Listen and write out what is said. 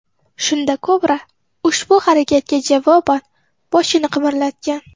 Shunda kobra ushbu harakatga javoban boshini qimirlatgan.